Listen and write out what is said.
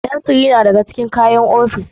Fensir yana ɗaya daga cikin kayan ofis.